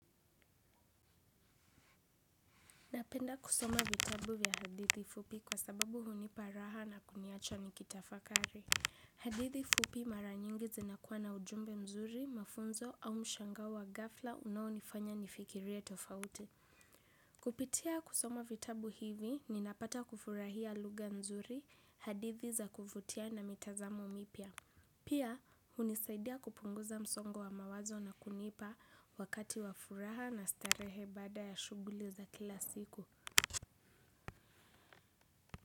Napenda kusoma vitabu vya hadithi fupi kwa sababu hunipa raha na kuniacha nikitafakari. Hadithi fupi mara nyingi zinakuwa na ujumbe mzuri, mafunzo au mshangao wa ghafla unaonifanya nifikirie tofauti. Kupitia kusoma vitabu hivi, ninapata kufurahia lugha nzuri, hadithi za kuvutia na mitazamo mipya. Pia, hunisaidia kupunguza msongo wa mawazo na kunipa wakati wa furaha na starehe baada ya shuguli za kila siku.